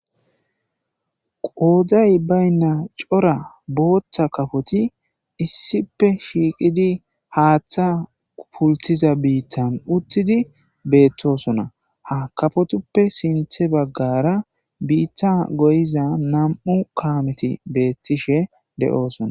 Qoodday bayinna cora booththa kaafoti issipe shiiqidii haaththay pultiza biittan uuttidi beettosona ha kaafotuppe sinththe baggara biitta goyiza nam'u kaameti beettishe de7oosona